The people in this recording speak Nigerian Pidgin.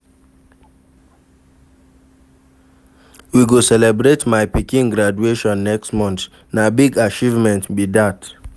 We go celebrate my pikin graduation next month, na big achievement be dat.